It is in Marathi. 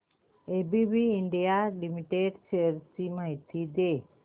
एबीबी इंडिया लिमिटेड शेअर्स ची माहिती दे